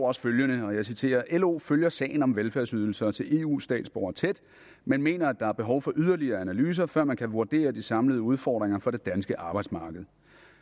også følgende og jeg citerer lo følger sagen om velfærdsydelser til eu statsborgere tæt men mener at der er behov for yderligere analyser før man kan vurdere de samlede udfordringer for det danske arbejdsmarked